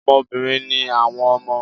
Ọmọ obìnrin ni àwọn ọmọ